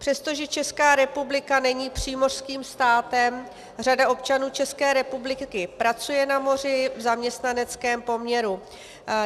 Přestože Česká republika není přímořským státem, řada občanů České republiky pracuje na moři v zaměstnaneckém poměru.